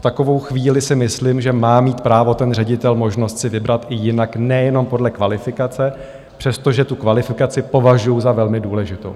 V takovou chvíli si myslím, že má mít právo ten ředitel možnost si vybrat i jinak, nejenom podle kvalifikace, přestože tu kvalifikaci považuju za velmi důležitou.